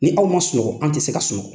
Ni aw ma sunɔgɔ an tɛ se ka sunɔgɔ.